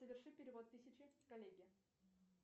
соверши перевод тысяча коллеге